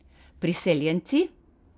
Priseljenci?